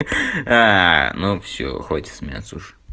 ну всё хватит смеяться уже